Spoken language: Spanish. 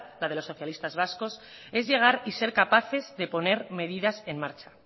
la de los socialistas vascos es llegar y ser capaces de poner medidas en marcha